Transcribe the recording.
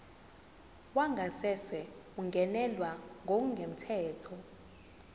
wangasese ungenelwe ngokungemthetho